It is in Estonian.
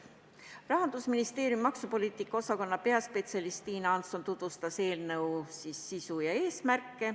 Rahandusministeeriumi maksupoliitika osakonna peaspetsialist Tiina Hansson tutvustas eelnõu sisu ja eesmärke.